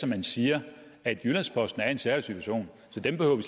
man siger at jyllands posten er i en særlig situation så dem behøver vi